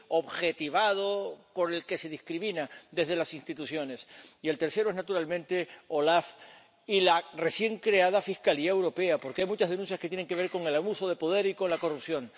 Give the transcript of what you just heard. objetivado con el que se discrimina desde las instituciones. Y el tercero es, naturalmente, la OLAF y la recién creada Fiscalía Europea, porque hay muchas denuncias que tienen que ver con el abuso de poder y con la corrupción.